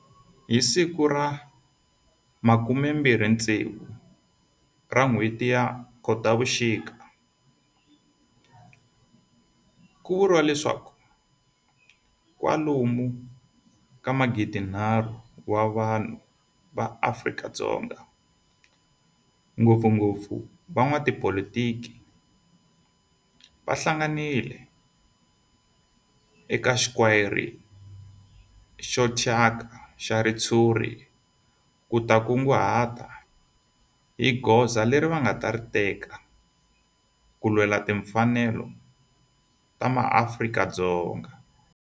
Hi ti 26 Khotavuxika ku vuriwa leswaku kwalomu ka magidinharhu wa vanhu va Afrika-Dzonga, ngopfungopfu van'watipolitiki va hlanganile eka square xo thyaka xa ritshuri ku ta kunguhata hi goza leri va nga ta ri teka ku lwela timfanelo ta maAfrika-Dzonga.